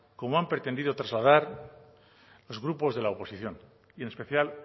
como han pretendido trasladar los grupos de la oposición y en especial